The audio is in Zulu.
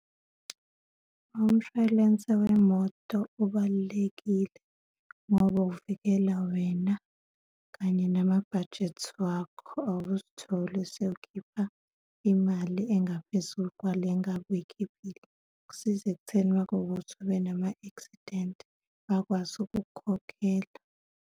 Umshwalense wemoto ubalulekile ngoba uvikela wena kanye namabhajethi wakho, awuzitholi sewukhipha imali engaphezulu kwale engabe uy'khiphile. Kusiza ekutheni uma kuwukuthi ubenama-accident, bakwazi ukukukhokhela.